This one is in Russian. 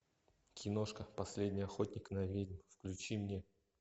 киношка последний охотник на ведьм включи мне